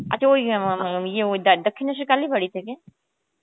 আচ্ছা ওই দক্ষিণেশ্বর কালীবাড়ি থেকে?